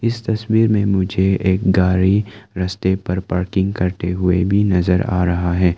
इस तस्वीर में मुझे एक गाड़ी रास्ते पर पार्किंग करते हुए भी नजर आ रहा है।